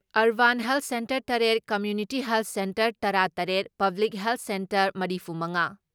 urban health centre ꯇꯔꯦꯠ, community health centre ꯇꯔꯥ ꯇꯔꯦꯠ, ꯄꯕ꯭ꯂꯤꯛ ꯍꯦꯜꯊ ꯁꯦꯟꯇꯔ ꯃꯔꯤꯐꯨ ꯃꯉꯥ